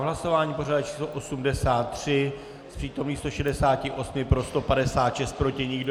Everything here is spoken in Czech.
V hlasování pořadové číslo 83 z přítomných 168 pro 156, proti nikdo.